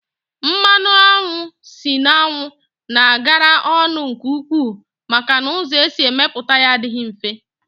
Mmanụ anwụ si n'anwu na agara ọnụ nke ukwuu maka na ụzọ esi emeputa ya adịghị mfe